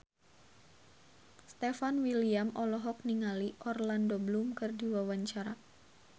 Stefan William olohok ningali Orlando Bloom keur diwawancara